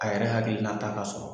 A yɛrɛ hakilinata ka sɔrɔ